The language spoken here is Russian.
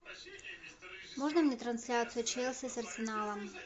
можно мне трансляцию челси с арсеналом